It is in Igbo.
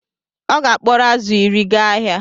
Ọ ga-akporo azụ̀ iri gaa ahịa